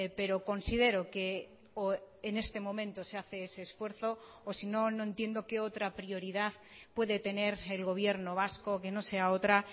pero considero que en este momento se hace ese esfuerzo o sino no entiendo que otra prioridad puede tener el gobierno vasco que no sea otra